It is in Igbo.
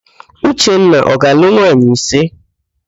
Uchenna ọ ga-alụ nwaanyị ise?